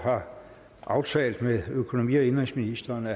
har aftalt med økonomi og indenrigsministeren at